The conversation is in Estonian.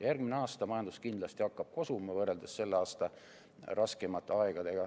Järgmine aasta hakkab majandus kindlasti kosuma, võrreldes selle aasta raskemate aegadega.